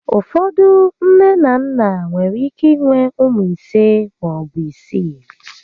Ụfọdụ nné na nnà nwere ike inwe ụmụ ise maọbụ isii